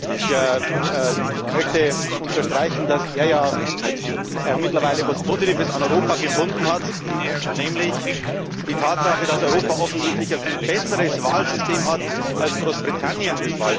Ich möchte unterstreichen, dass er ja mittlerweile etwas Positives an Europa gefunden hat, nämlich die Tatsache, dass Europa offensichtlich ein viel besseres Wahlsystem hat als Großbritannien.